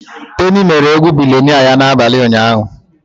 Teni mere egwu billionnaire ya n'abalị ụnyaahụ.